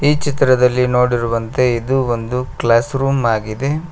ಈ ಚಿತ್ರದಲ್ಲಿ ನೋಡಿರುವಂತೆ ಇದು ಒಂದು ಕ್ಲಾಸ್ ರೂಮ್ ಆಗಿದೆ.